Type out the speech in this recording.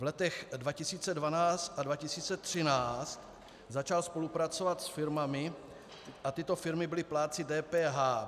V letech 2012 a 2013 začal spolupracovat s firmami a tyto firmy byly plátci DPH.